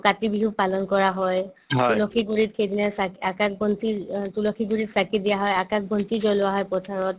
কাতি বিহু পালন কৰা হয় তুলসী গুৰিত সেইদিনা চাকি আকাশ বন্তি অ তুলসী গুৰিত চাকি দিয়া হয় আকাশ বন্তি জ্বলোৱা হয় পথাৰত